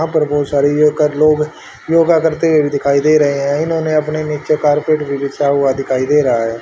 यहाँ पर बहोत सारे यो कर लोग योगा करते हुए भीं दिखाई दे रहें हैं इन्होंने अपने नीचे कारपेट भीं बिछा हुआ दिखाई दे रहा हैं।